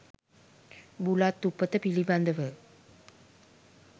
බුලත් උපත පිළිබඳව